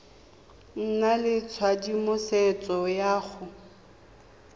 nna le tshedimosetso ya go